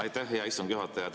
Aitäh, hea istungi juhataja!